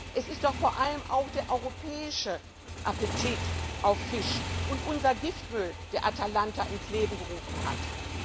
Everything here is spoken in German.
Es ist doch vor allem auch der europäische Appetit auf Fisch und unser Giftmüll, die Atalanta ins Leben gerufen haben.